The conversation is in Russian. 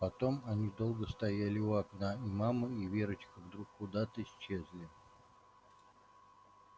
потом они долго стояли у окна и мама и верочка вдруг куда то исчезли